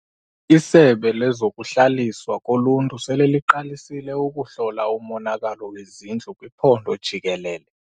Isebe lezokuHlaliswa koLuntu sele liqalisile ukuhlola umonakalo wezindlu kwiphondo jikelele.